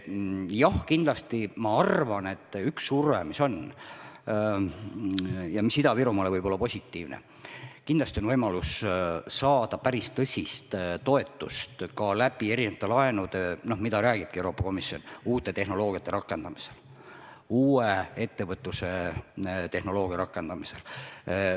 Jah, kindlasti ma arvan, et üks surve, mis võib olla Ida-Virumaale positiivne, on võimalus saada päris tõsist toetust laenudena – sellest räägibki Euroopa Komisjon – uue ettevõtlustehnoloogia rakendamisel.